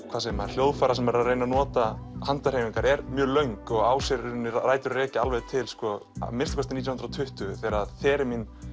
hvað segir maður hljóðfæra sem reyna að nota handahreyfingar er mjög löng og á sér í rauninni rætur að rekja alveg til að minnsta kosti nítján hundruð og tuttugu þegar þegar Theremin